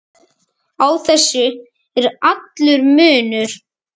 Á þessu er allur munur.